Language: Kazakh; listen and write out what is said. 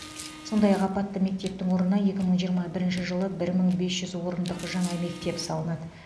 сондай ақ апатты мектептің орнына екі мың жиырма бірінші жылы бір мың бес жүз орындық жаңа мектеп салынады